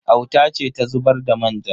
Auta ce ta zubar da manja.